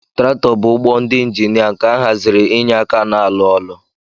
Traktọ bu ụgbọala ndi injinia nke ahaziri inye aka na alụ ọlụ.